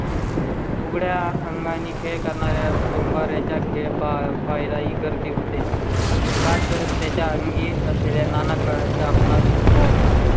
उघड्या अंगा आणि खेळ करणार? डोंबार् याचा खेळ पाहिला ही गर्दी होते का? तर त्याच्या अंगी असलेल्या नाना आपणास मोह होता.